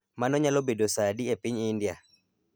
Mano nyalo bedo sa adi e piny India?